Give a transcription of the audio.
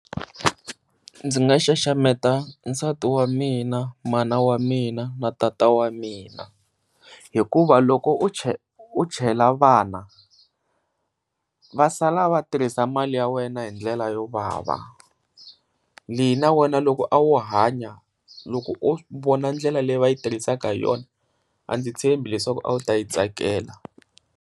Ndzi nga xaxameta nsati wa mina, mana wa mina, na tata wa mina hikuva loko u u chela vana, va sala va tirhisa mali ya wena hi ndlela yo vava leyi na wena loko a wu hanya loko o vona ndlela leyi va yi tirhisaka hi yona a ndzi tshembi leswaku a wu ta yi tsakela.